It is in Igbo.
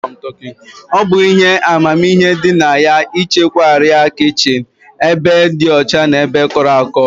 Ọ bụ ihe amamihe dị na ya ịchekwa arịa kichin n'ebe dị ọcha na kọrọ akọ